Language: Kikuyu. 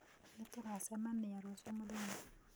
Nĩtũgacemanĩa rũcĩũ mũthenya